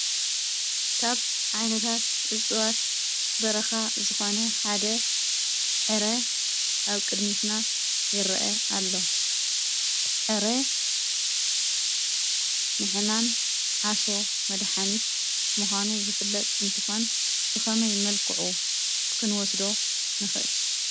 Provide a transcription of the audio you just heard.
ካብ ዓይነታት እፅዋት በረኻ ዝኾነ ሓደ ዕረ ኣብ ቅድሚትና ይርአ ኣሎ፡፡ ዕረ ንሕማም ዓሶ መድሓኒት ምዃኑ ዝፍለጥ እንትኾን ብኸመይ መልክዑ ክንወስዶ ንኽእል?